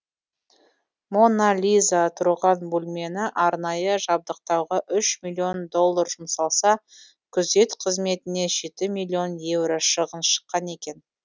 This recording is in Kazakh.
мона лиза тұрған бөлмені арнайы жабдықтауға үш миллион доллар жұмсалса күзет қызметіне жеті миллион евро шығын шыққан екен